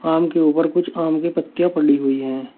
आम के ऊपर कुछ आम की पत्तियां पड़ी हुई हैं।